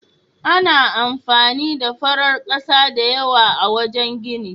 Ana amfani da farar ƙasa da yawa a wajen gini.